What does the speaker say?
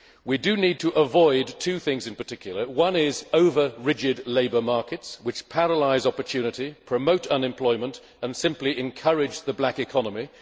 We need to avoid two things in particular one is over rigid labour markets which paralyse opportunity, promote unemployment and simply encourage the black economy.